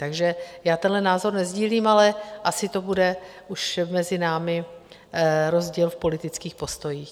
Takže já tenhle názor nesdílím, ale asi to bude už mezi námi rozdíl v politických postojích.